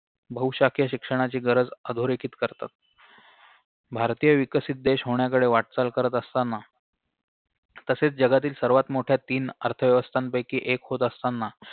बहुशाखीय शिक्षणाची गरज अधोरेखित करतात भारतीय विकसित देश होण्याकडे वाटचाल करत असताना तसेच जगातील सर्वात मोठ्या तीन अर्थव्यवस्थांपैकी एक होत असताना